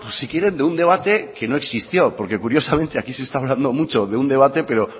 si quiere de un debate que no existió porque curiosamente aquí se está hablando mucho sobre un debate pero